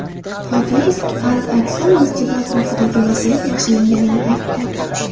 Qodirov Al-Aksa masjidi atrofidagi vaziyat yaxshilanganini aytdi.